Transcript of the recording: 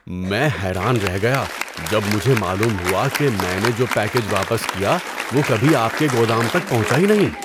میں حیران رہ گیا جب مجھے معلوم ہوا کہ میں نے جو پیکیج واپس کیا وہ کبھی آپ کے گودام تک پہنچا ہی نہیں!